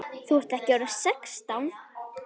Þú ert ekki orðinn sextán!